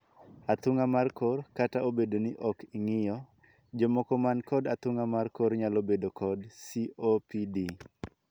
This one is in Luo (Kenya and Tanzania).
Athung'a mar kor. Kata obedo ni ok ong'iyo, jomoko man kod athung'a mar kor nyalo bedo kod 'COPD'